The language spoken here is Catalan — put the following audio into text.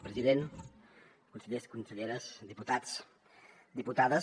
president consellers conselleres diputats diputades